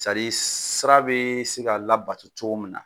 sira bɛ se ka labato cogoya min nak